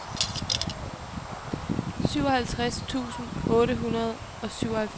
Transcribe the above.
syvoghalvtreds tusind otte hundrede og syvoghalvfems